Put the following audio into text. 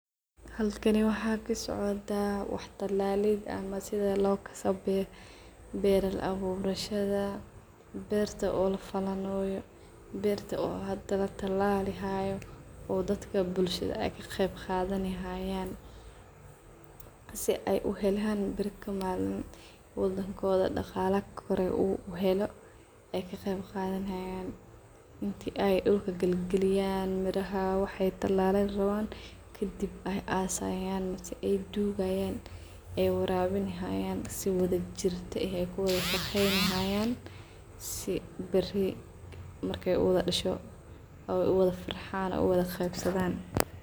Halkani waxa kasocda wax talaalid ama sidha lookasayo beer abuurshadha, beerta oo lafalanayo beerta oo hadaa latalalihayo oo daadka bullshadha ayy kaqeebqadhanihayan si ay uhelaan baari yakamalin wadankodha dagaali koore uu heelo ayy kaqeebqadhani hayan intii aay dulka galgaliyan miraha waxay talaleen rawan kadiib ay asayaan mise ay dugayan ay warabinihayan sidhii wadhajirti eeh kuwudashageynayan si baari markay uwdhadasho ay uwadhafarxaan ay uwadhagebsadhan.